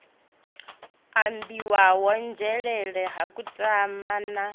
ambiwaho nzhelele ha kutama na